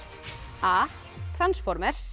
a